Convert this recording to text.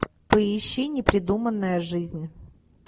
поищи непридуманная жизнь